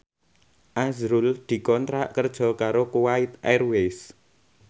azrul dikontrak kerja karo Kuwait Airways